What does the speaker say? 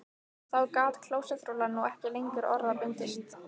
Þá gat klósettrúllan nú ekki lengur orða bundist